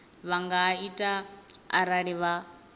vha nga ita arali vha